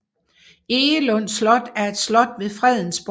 Egelund Slot er et slot ved Fredensborg